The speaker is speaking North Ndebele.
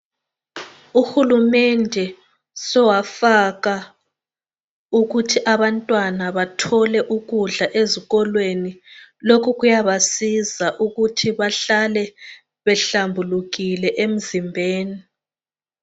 Uhulumende sowafaka ukuthi abantwana bathole ukudla ezikolweni. Lokhu kuyabasiza ukuthi bahlale behlambulukile emzimbeni.